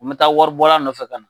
Me taa wari bɔra nɔfɛ kana.